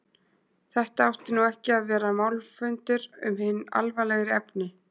Þetta átti nú ekki að vera málfundur um hin alvarlegri efni.